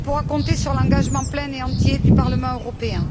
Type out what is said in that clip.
Elle pourra compter sur l'engagement plein et entier du Parlement européen.